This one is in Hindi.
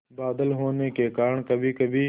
बादल होने के कारण कभीकभी